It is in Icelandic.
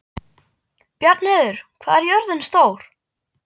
Bjarnheiður, hvað er jörðin stór?